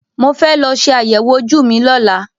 Mo fẹ́ lọ ṣe àyẹ̀wò ojú mi lọ́la.